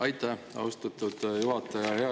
Aitäh, austatud juhataja!